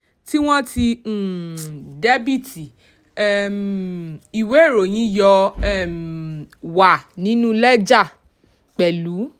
tí wọ́n ti um dẹ́bìtì um ìwé ìròyìn yóò um wà nínú lẹ́jà pẹ̀lú.